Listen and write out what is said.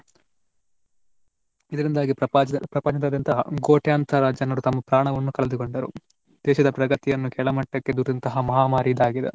ಇದರಿಂದಾಗಿ ಪ್ರಪಾಚ~ ಪ್ರಪಂಚದಾದ್ಯಂತ ಕೋಟ್ಯಾಂತರ ಜನರು ತಮ್ಮ ಪ್ರಾಣವನ್ನುಕಳೆದುಕೊಂಡರು. ದೇಶದ ಪ್ರಗತಿಯನ್ನು ಕೆಳಮಟ್ಟಕ್ಕೆ ದೂಡಿದಂತಹ ಮಹಾಮಾರಿ ಇದಾಗಿದೆ.